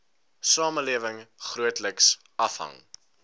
samelewing grootliks afhang